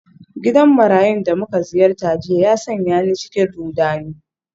Gidan marayun da muka ziyarta jiya ya sanya ni cikin rudani.